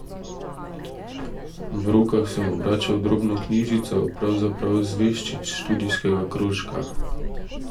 V rokah sem obračal drobno knjižico, pravzaprav zvežčič študijskega krožka.